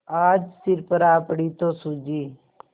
आज सिर पर आ पड़ी तो सूझी